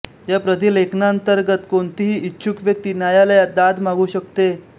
या प्राधिलेखांतर्गत कोणतीही इच्छुक व्यक्ती न्यायालयात दाद मागू शकते